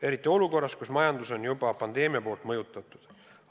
Eriti olukorras, kus majandus on juba pandeemiast mõjutatud.